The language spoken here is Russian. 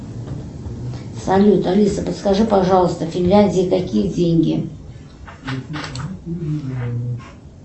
салют алиса подскажи пожалуйста в финляндии какие деньги